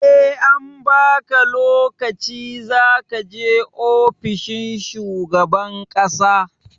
SE an baka lokaci zakaje ofishin shugaban ƙasa